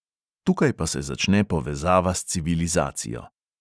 Tukaj pa se začne povezava s civilizacijo.